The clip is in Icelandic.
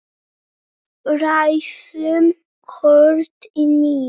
Ræsum kort í níu.